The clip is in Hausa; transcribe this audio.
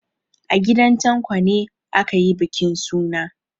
A gidan Tanko ne aka yi bukin suna.